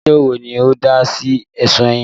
Adájọ́ wo ni ó dá sí ẹ̀sùn yín?